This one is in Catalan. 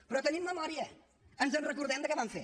però tenim memòria ens en recordem de què van fer